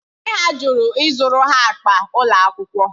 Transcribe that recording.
Nne ha jụrụ ịzụrụ ha akpa ụlọ akwụkwọ